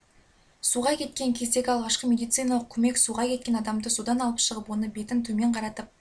суға кеткен кездегі алғашқы медициналық көмек суға кеткен адамды судан алып шығып оны бетін төмен қаратып